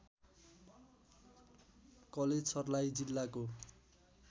college Sarlahi जिल्लाको